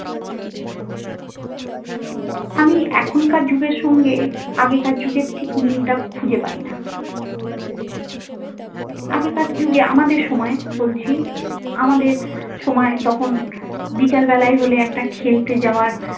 আমি এখনকার যুগের সঙ্গে আগেকার যুগের ঠিক মিলটা খুঁজে পাই না। আগেকার যুগে আমাদের সময়ে বলছি আমাদের সময় তখন বিকেল বেলায় হলে একটা খেলতে যাওয়ার।